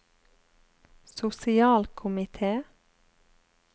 sosialkomite